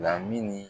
La min ni